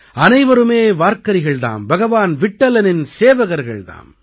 அனைவருமே வார்கரிகள் தாம் பகவான் விட்டலனின் சேவகர்கள் தாம்